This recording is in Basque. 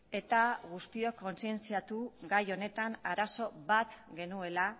eta guztiok kontzientziatu gai honetan arazo bat genuela